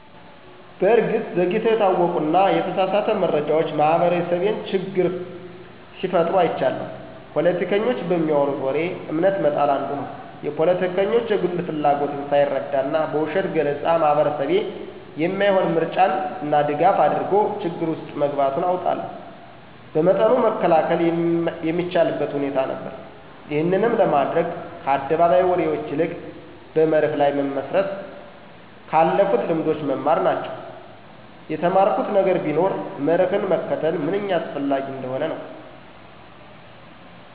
በእርግጥ ዘግይተው የታወቁና የተሳሳተ መረጃዎች ማህበረሰቤን ችግር ሲፈጥሩ አይቻለሁ። ፖለቲከኞች በሚያወሩት ወሬ እምነት መጣል አንዱ ነው። የፖለቲከኞች የግል ፍላጎትን ሳይረዳና በውሸት ገለፃ ማህበረሰቤ የማይሆን ምርጫና ድጋፍ አድርጎ ችግር ውስጥ መግባቱን አውቃለሁ። በመጠኑ መከላከል የሚቻልበት ሁኔታ ነበር። ይህንንም ለማድረግ ከአደባባይ ወሬዎች ይልቅ በመርህ ላይ መመስረት፣ ከአለፉልት ልምዶች መማር ናቸው። የተማርኩት ነገር ቢኖር መርህን መከተል ምንኛ አስፈላጊ እንደሆነ ነው።